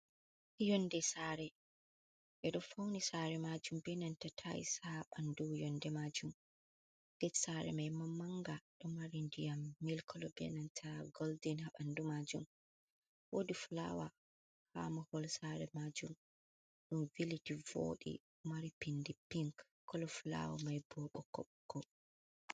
Nyonde sare, be do fauni sare majum be nanta taais ha bandu yonde majum. Get sare mai maanga do mari ndiyam mil kolo, bee nanta goldin habandu majum, wodi fulawa ha mahol sare majum dum viliti l. vodi mari pindi piink kolo fulawa mai bo bokkobokko.